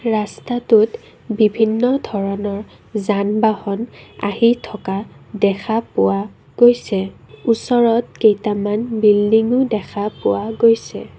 ৰাস্তাটোত বিভিন্ন ধৰণৰ যান বাহন আহি থকা দেখা পোৱা গৈছে ওচৰত কেইটামান বিল্ডিং ও দেখা পোৱা গৈছে।